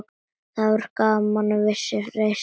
Það gaf manni vissa reisn.